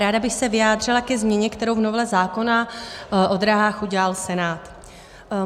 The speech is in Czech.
Ráda bych se vyjádřila ke změně, kterou v novele zákona o drahách udělal Senát.